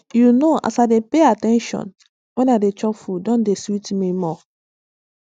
you know as i dey pay at ten tion when i dey chop food don dey sweet me more